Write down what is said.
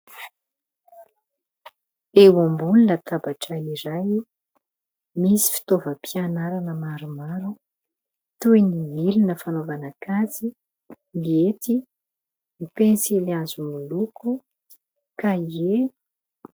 Eo ambony latabatray iray misy fotoavam-pianarana maromaro toy ny milona fanaovana kajy, ny hety ny pensily hazo miloko,"cahier".